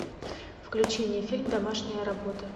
включи мне фильм домашняя работа